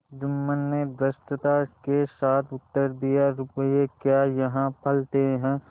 जुम्मन ने धृष्टता के साथ उत्तर दियारुपये क्या यहाँ फलते हैं